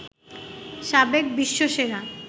সাবেক বিশ্বসেরা